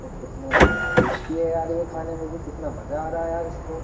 और कितने टेस्टी है यार ये खाने में भी कितना मजा आ रहा है यार इसको।